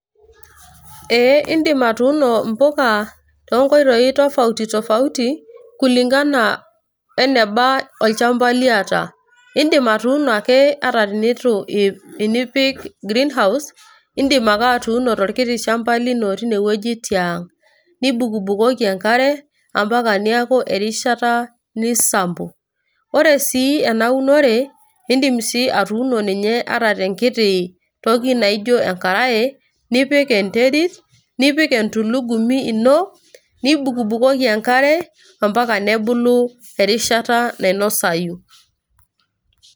Ee idim atuuno impuka tonkoitoii tofauti tofauti, kulingana eneba olchamba liata. Idim atuuno ake ata tenitu tenipik green house ,idim ake atuuno torkiti shamba lino tinewueji tiang'. Nibukubukoki enkare ,ambaka neeku erishata nisampo. Ore si enaunore, idim si atuuno ninye ata tenkiti toki naijo enkarae, nipik enterit, nipik entulugumi ino, nibukbukoki enkare, ambaka nebulu erishata nainosayu.